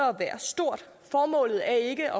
være stort formålet er ikke